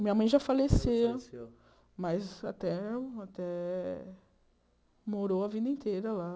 Minha mãe já faleceu, mas até eh morou a vida inteira lá.